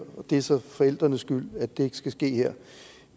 det så er forældrenes skyld at det ikke skal ske her